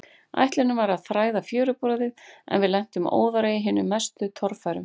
Ætlunin var að þræða fjöruborðið, en við lentum óðara í hinum mestu torfærum.